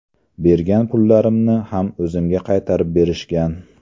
Bergan pullarimni ham o‘zimga qaytarib berishgan.